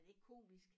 Er det ikke komisk?